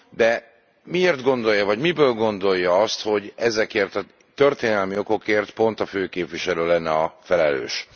De miért gondolja, vagy miből gondolja azt, hogy ezekért a történelmi okokért pont a főképviselő lenne a felelős?